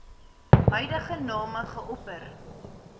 huidige name geopper